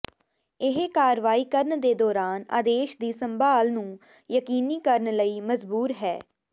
ਇਹ ਕਾਰਵਾਈ ਕਰਨ ਦੇ ਦੌਰਾਨ ਆਦੇਸ਼ ਦੀ ਸੰਭਾਲ ਨੂੰ ਯਕੀਨੀ ਕਰਨ ਲਈ ਮਜਬੂਰ ਹੈ